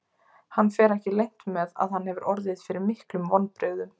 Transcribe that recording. Hann fer ekki leynt með að hann hefur orðið fyrir miklum vonbrigðum.